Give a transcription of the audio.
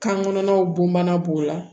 Kan kɔnɔnaw bomana b'o la